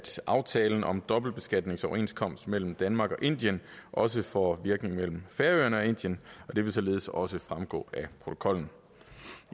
aftalen om dobbeltbeskatningsoverenskomsten mellem danmark og indien også får virkning mellem færøerne og indien og det vil således også fremgå af protokollen